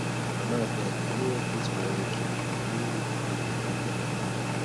mama abeg i no wan plait my hair again na only wig you go dey buy for me